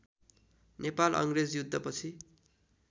नेपाल अङ्ग्रेज युद्धपछि